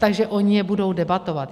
Takže oni je budou debatovat.